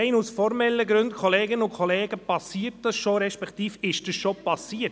Rein aus formellen Gründen, Kolleginnen und Kollegen, passiert das schon, respektive ist das schon passiert.